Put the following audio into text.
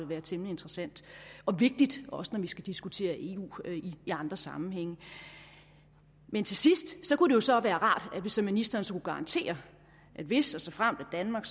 være temmelig interessant og vigtigt også når vi skal diskutere eu i andre sammenhænge men til sidst kunne det jo så være rart hvis ministeren så garantere at hvis og såfremt at danmark